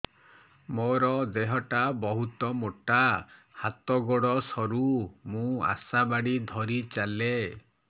ମୋର ଦେହ ଟା ବହୁତ ମୋଟା ହାତ ଗୋଡ଼ ସରୁ ମୁ ଆଶା ବାଡ଼ି ଧରି ଚାଲେ